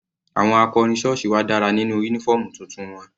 Àwọn akọrin sọ́ọ̀sì wa dára nínú uniform tuntun wọn.